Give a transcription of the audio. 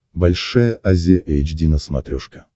большая азия эйч ди на смотрешке